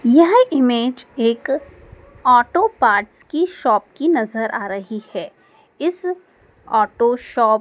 यह इमेज एक auto parts की शॉप की नजर आ रही है इस ऑटो शॉप --